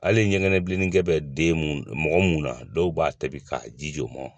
Hali ɲɛŋɛ bilennikɛ bɛ den mun mɔgɔ mun na dɔw b'a tobi ka jijo o mɔ